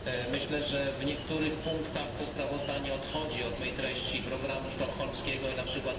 Myślę, że w niektórych punktach to sprawozdanie odchodzi od samej treści programu sztokholmskiego i np.